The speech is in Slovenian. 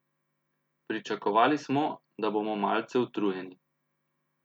Pričakovali smo, da bomo malce utrujeni.